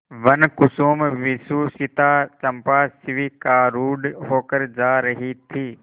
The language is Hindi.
वनकुसुमविभूषिता चंपा शिविकारूढ़ होकर जा रही थी